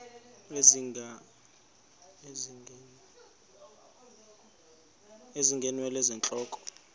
ezinga ngeenwele zentloko